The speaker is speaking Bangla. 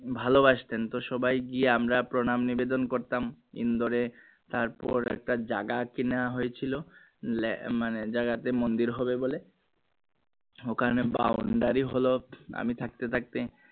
ভালোবাসতেন তো সবাই গিয়ে আমরা প্রণাম নিবেদন করতাম ইন্দোরে তার পর একটা জাগা কেনা হয়েছিল যে মানে জাগা তে মন্দির হবে বলে ওখানে হলো আমি থাকতে থাকতে